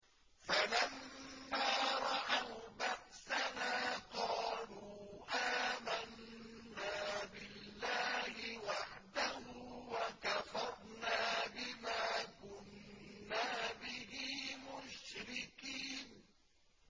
فَلَمَّا رَأَوْا بَأْسَنَا قَالُوا آمَنَّا بِاللَّهِ وَحْدَهُ وَكَفَرْنَا بِمَا كُنَّا بِهِ مُشْرِكِينَ